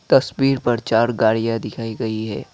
तस्वीर पर चार गाड़ियां दिखाई गई है।